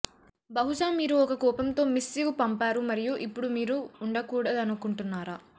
బహుశా మీరు ఒక కోపంతో మిస్సివ్ పంపారు మరియు ఇప్పుడు మీరు ఉండకూడదనుకుంటున్నారా